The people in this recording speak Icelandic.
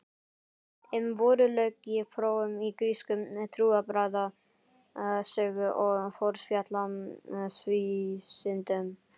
Um vorið lauk ég prófum í grísku, trúarbragðasögu og forspjallsvísindum.